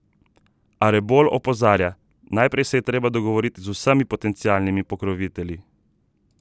A Rebolj opozarja: "Najprej se je treba dogovoriti z vsemi potencialnimi pokrovitelji.